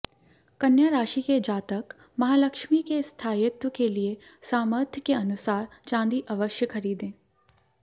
कन्या राशि के जातक महालक्ष्मी के स्थायित्व के लिए सामर्थ्य के अनुसार चांदी अवश्य खरीदें